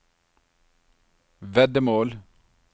veddemål